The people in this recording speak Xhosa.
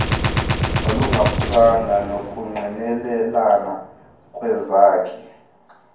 nolungaphukanga nokungqinelana kwezakhi